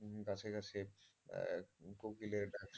গাছে গাছে কোকিলের ডাক,